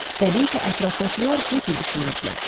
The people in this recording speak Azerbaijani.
Təbii ki, ətrafdakılar bu cür düşünürdülər.